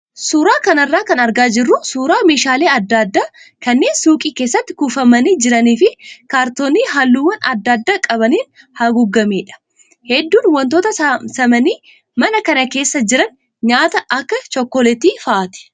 Suuraa kanarraa kan argaa jirru suuraa meeshaalee adda addaa kanneen suuqii keessatti kuufamanii jiranii fi kaartoonii halluuwwan adda addaa qabaniin haguugamedha. Hedduun wantoota samsamanii mana kana keessa jiranii nyaata akka chookoleetii fa'aati.